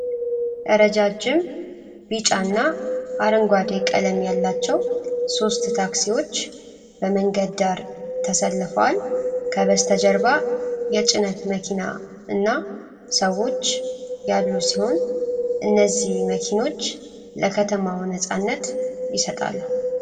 ረዣዥም ቢጫና አረንጓዴ ቀለም ያላቸው ሦስት ታክሲዎች በመንገድ ዳር ተሰልፈዋል። ከበስተጀርባ የጭነት መኪና እና ሰዎች ያሉ ሲሆን፣ እነዚህ መኪኖች ለከተማው ነፃነት ይሰጣሉ።